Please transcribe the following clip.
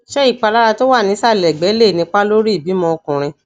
ṣé ìpalára tó wà nísàlẹ ẹgbe lè nípa lórí ìbímọ ọkùnrin